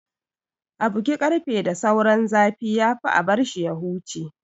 A bugi ƙarfe da sauran zafi, ya fi a bar shi ya huce.